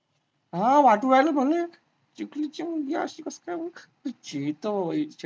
हा वाटून राहिले मले, चिखलीची मुलगी अशी कशी काय